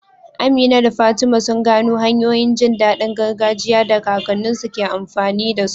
Amina da Fatima sun gano hanyoyin jin daɗin gargajiya da kakanninsu ke amfani da su.